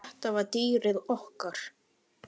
En þetta var dýrið okkar.